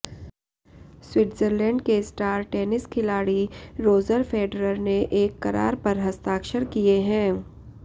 Switzerland के star tennis खिलाड़ी Roger Federer ने एक करार पर हस्ताक्षर किए हैं